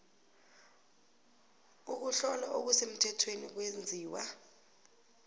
ukuhlola okusemthethweni kwenziwa